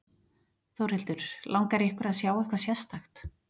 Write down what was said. Þórhildur: Langar ykkur að sjá eitthvað sérstakt?